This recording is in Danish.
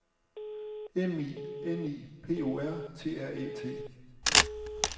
M I N I P O R T R Æ T